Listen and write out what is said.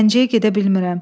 Gəncəyə gedə bilmirəm.